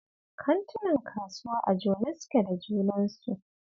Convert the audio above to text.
Kantinan kasuwa a jone suke da junansu